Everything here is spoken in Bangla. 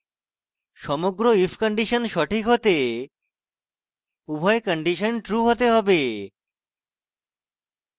সমগ্র if condition সঠিক হতে উভয় condition true হতে হবে